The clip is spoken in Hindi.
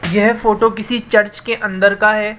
यह फोटो किसी चर्च के अंदर का है।